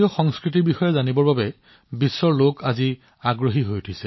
বন্ধুসকল আজি সমগ্ৰ বিশ্বতে ভাৰতীয় সংস্কৃতিৰ বিষয়ে শিকিবলৈ আগ্ৰহ বৃদ্ধি পাইছে